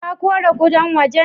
Ka kore kudan waje?